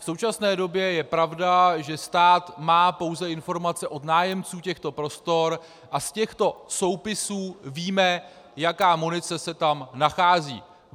V současné době je pravda, že stát má pouze informace od nájemců těchto prostor, a z těchto soupisů víme, jaká munice se tam nachází.